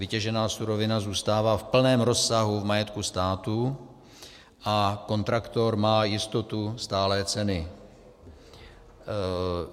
Vytěžená surovina zůstává v plném rozsahu v majetku státu a kontraktor má jistotu stálé ceny.